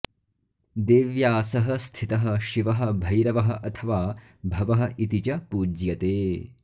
देव्या सह स्थितः शिवः भैरवः अथवा भवः इति च पूज्यते